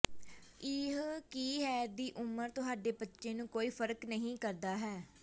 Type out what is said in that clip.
ਇਹ ਕੀ ਹੈ ਦੀ ਉਮਰ ਤੁਹਾਡੇ ਬੱਚੇ ਨੂੰ ਕੋਈ ਫ਼ਰਕ ਨਹੀ ਕਰਦਾ ਹੈ